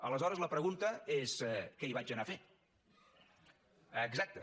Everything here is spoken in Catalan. aleshores la pregunta és què hi vaig anar a fer exacte